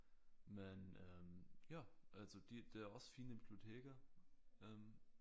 Men øh ja altså de det er også fine biblioteker øh